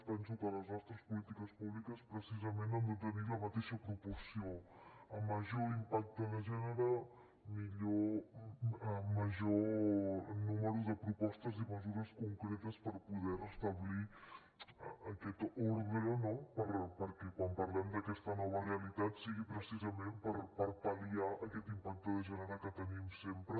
penso que les nostres polítiques públiques precisament han de tenir la mateixa proporció a major impacte de gènere major número de propostes i mesures concretes per poder restablir aquest ordre no perquè quan parlem d’aquesta nova realitat sigui precisament per pal·liar aquest impacte de gènere que tenim sempre